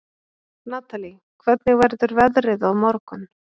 Natalie, hvernig verður veðrið á morgun?